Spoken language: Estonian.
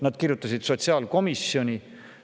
Nad kirjutasid sotsiaalkomisjonile.